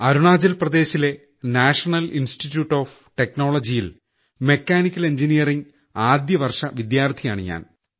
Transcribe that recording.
അരുണാചൽപ്രദേശിലെ national institute of technology യിൽ mechanical engineering ആദ്യ വർഷ വിദ്യാർത്ഥിയാണ് ഞാൻ